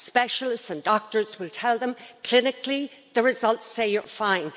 Specialists and doctors will tell them clinically, the results say you're fine.